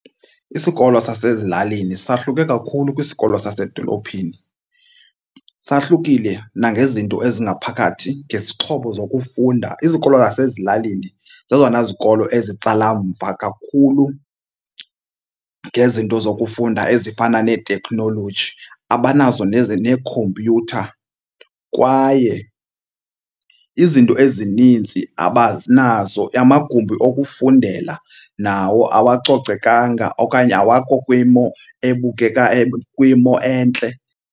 Isikolo sasezilalini sahluke kakhulu kwisikolo sasedolophini. Sahlukile nangezinto ezingaphakathi, ngezixhobo zokufunda. Izikolo zasezilalini zezona zikolo ezitsala mva kakhulu ngezinto zokufunda ezifana neeteknoloji, abanazo neekhompyutha kwaye izinto ezininzi abanazo. Amagumbi okufundela nawo awacocekanga okanye awakho kwimo ebukeka kwimo entle.